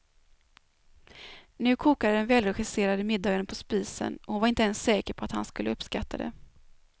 Nu kokade den välregisserade middagen på spisen och hon var inte ens säker på att han skulle uppskatta det.